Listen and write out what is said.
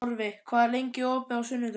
Torfi, hvað er opið lengi á sunnudaginn?